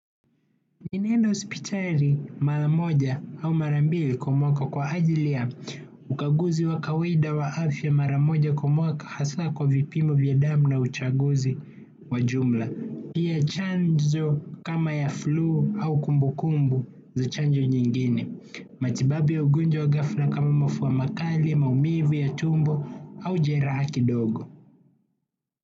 Ninaenda hospitali mara moja au mara mbili kwa mwaka kwa ajili ya ukaguzi wa kawaida wa afya mara moja kwa mwaka hasa kwa vipimo vya damu na uchaguzi wa jumla. Ndiye chanzo kama ya flu au kumbu kumbu za chanjo nyingine. Matibabu ya ugonjwa wa ghafla kama mafua makali, maumivu ya tumbo au jeraha kidogo.